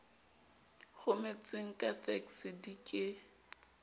rometsweng ka fekse di ke